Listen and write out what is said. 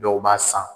Dɔw b'a san